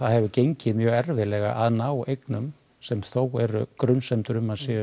hefur gengið mjög erfiðlega að ná eignum sem þó eru grunsemdir um